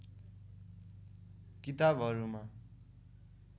किताबहरूमा